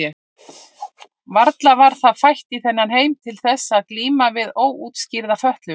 Varla var það fætt í þennan heim til þess eins að glíma við óútskýrða fötlun?